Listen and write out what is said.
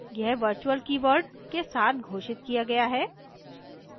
यह virtual keyword के साथ घोषित किया गया है